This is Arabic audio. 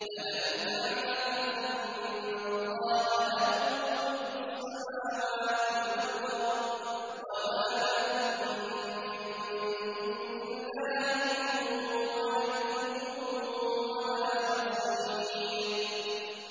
أَلَمْ تَعْلَمْ أَنَّ اللَّهَ لَهُ مُلْكُ السَّمَاوَاتِ وَالْأَرْضِ ۗ وَمَا لَكُم مِّن دُونِ اللَّهِ مِن وَلِيٍّ وَلَا نَصِيرٍ